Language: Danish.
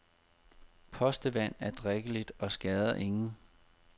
Postevand er drikkeligt og skader ingen.